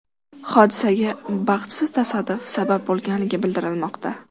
Hodisaga baxtsiz tasodif sabab bo‘lgani bildirilmoqda.